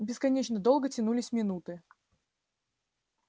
бесконечно долго тянулись минуты